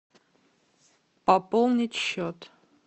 пополнить счет